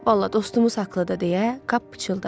Valla dostumuz haqqlıdır, deyə Kap pıçıldadı.